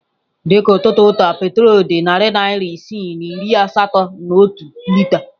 Dị ka n'ụtụtụ taa petrol dị narị naira isii na iri asatọ na otu lita.